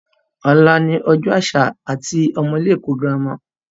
Ọ̀la ni Ọjọ́ àṣà àwọn ọmọ ilé ẹ̀kọ́ girama